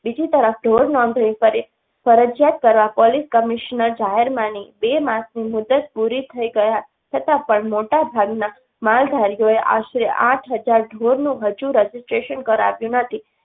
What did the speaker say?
બીજી તરફ ઢોર નોંધણી કરી ફરજિયાત કરવા પોલીસ કમિશનર જાહેર માની બે માસની મુદત પૂરી થઈ ગયા છતાંપણ મોટાભાગના માલધારીઓએ આશરે આઠ હજાર ઢોરનું હજુ Registration કરાવ્યું નથી.